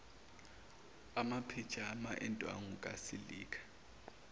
amaphijama endwangu kasilika